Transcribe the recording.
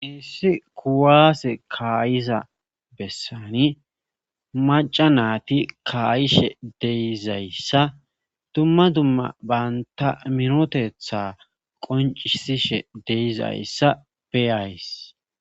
iissi kuwaase kaayiza bessani maca naati kaayishe deizayssa dumma dumma baynta minotetha qoncisishe deizayssa beyays